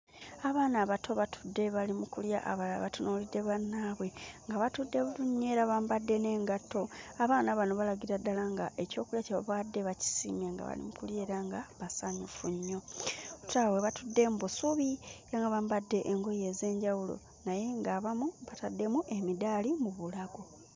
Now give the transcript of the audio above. Abaana abato batudde bali mu kulya, abalala batunuulidde bannaabwe nga batudde bulungi nnyo era bambadde n'engatto. Abaana bano balagira ddala nga ekyokulya kye babawadde bakisiimye nga bali mu kulya era nga basanyufu nnyo. Tulaba we batudde mu busubi era nga bambadde engoye ez'enjawulo naye ng'abamu bataddemu emidaali mu bulago.